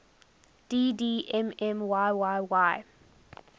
dd mm yyyy